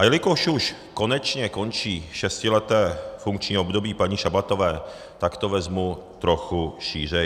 A jelikož už konečně končí šestileté funkční období paní Šabatové, tak to vezmu trochu šířeji.